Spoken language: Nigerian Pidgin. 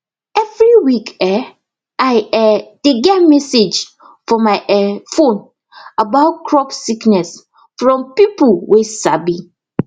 every week um i um dey get message for my um phone about crop sickness from peopleway sabi